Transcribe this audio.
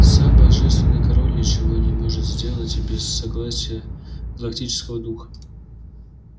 сам божественный король ничего не может сделать без согласия галактического духа